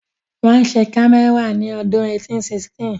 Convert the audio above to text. Wọ́n ṣe kámẹ́rà ní ọdún 1816